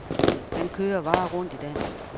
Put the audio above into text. Han kører varer rundt i dag.